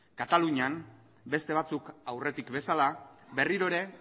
katalunian beste batzuk aurretik bezala berriro ere